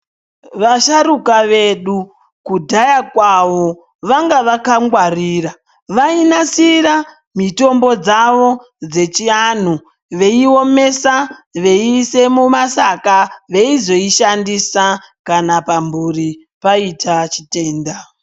Vasharuka vedu kudhaya kwavo vanga vakangwarira. Vainasira mitombo dzavo dzechianhu veiomesa veiise mumasaka veizoishandisa kana pamhuri paite chitenda.